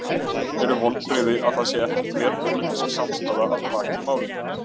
Eru vonbrigði að það sé ekki þverpólitísk samstaða að baki málinu?